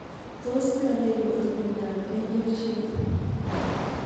Tos ne neiparu miondop Angel shaped phalangoepiphyseal dysplasia